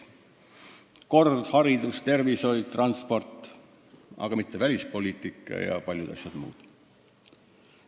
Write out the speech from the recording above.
Kord, haridus, tervishoid, transport, aga mitte välispoliitika ja paljud muud asjad.